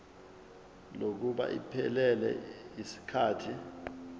kokuba iphelele yisikhathi